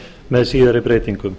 með síðari breytingum